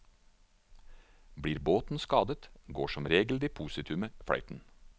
Blir båten skadet, går som regel depositumet fløyten.